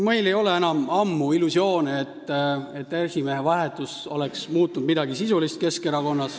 Meil ei ole enam ammu illusioone, nagu esimehe vahetus oleks Keskerakonnas midagi sisulist muutnud.